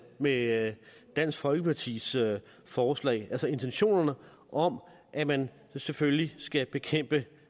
med dansk folkepartis forslag altså intentionerne om at man selvfølgelig skal bekæmpe